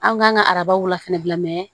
An kan ka arabaw la fɛnɛ bila